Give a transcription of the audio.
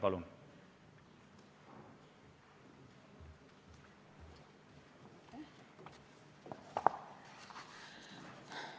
Palun!